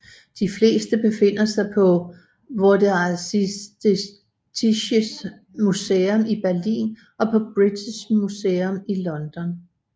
De fleste befinder sig på Vorderasiatisches Museum i Berlin og på British Museum i London